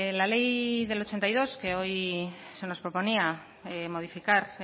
la ley del ochenta y dos que hoy se nos proponía modificar